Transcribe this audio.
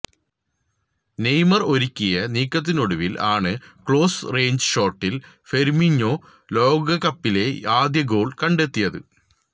Neymar ഒരുക്കിയ നീക്കത്തിനൊടുവിൽ ആണ് ക്ലോസ് റേഞ്ച് ഷോട്ടിൽ ഫെര്മിഞ്ഞോ ലോകകപ്പിലെ ആദ്യ ഗോൾ കണ്ടെത്തിയത്